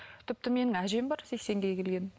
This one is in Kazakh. тіпті менің әжем бар сексенге келген